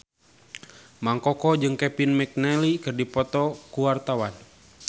Mang Koko jeung Kevin McNally keur dipoto ku wartawan